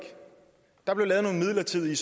der blev lavet nogle midlertidige